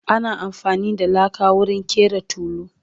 ana afani da laka wurin ƙera tulu